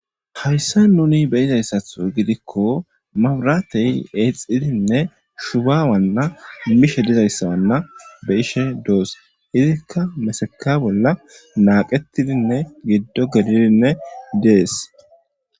hayssa nuni be izayssatho gidikko mabratey eexxidinne shuba wanna nimishe dizayssawanna be ishe doos izikka mesaka bolla naaqettidinne giddo gelidinne dees